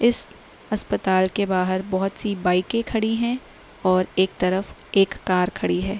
इस अस्पताल के बाहर बहुत सी बाइके के खड़ी हैं और एक तरफ एक कार खड़ी है।